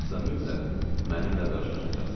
Yoxsa mütləq mənimlə qarşılaşacaqsınız.